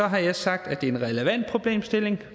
har sagt at det er en relevant problemstilling